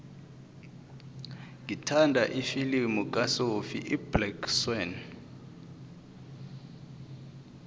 ngithanda ifilimu kasophie iblack swann